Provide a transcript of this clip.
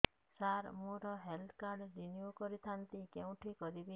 ସାର ମୋର health card renew କରିଥାନ୍ତି କେଉଁଠି କରିବି